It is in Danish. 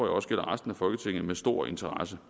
også gælder resten af folketinget med stor interesse